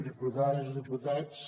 diputades diputats